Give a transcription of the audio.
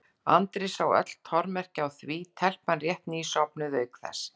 Andri sá öll tormerki á því, telpan rétt ný sofnuð, auk þess.